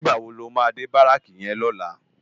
Nigbá wó ló má dé báráki yèn lòlá?